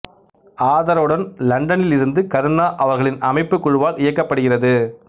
ஆதரவுடன் லண்டனில் இருந்து கருணா அவர்களின் அமைப்புக் குழுவால் இயக்கப்படுகிறது